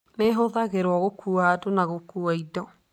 Nĩ ĩhũthagĩrũo gũkuua andũ na gũkuua indo.